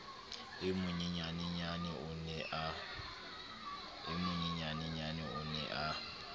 e monyenyaneyena o ne a